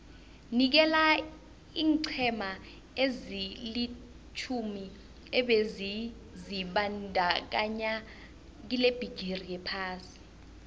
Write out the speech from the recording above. nikela iinqhema ezilitjhumi ebezizibandakanye kilebhigiri yephasi